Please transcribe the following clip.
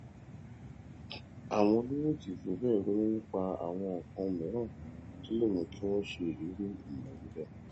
àwọn olówó kì í fi béè ronú nípa àwọn nǹkan mìíràn tó lè mú kí wón ṣe irú ìnáwó béè